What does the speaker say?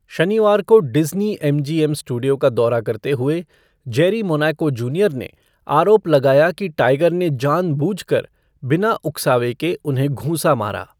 शनिवार को Disney M G M studio का दौरा करते हुए, जेरी मोनाको जूनियर ने आरोप लगाया कि टाइगर ने जानबूझकर बिना उकसावे के उन्हें घूंसा मारा।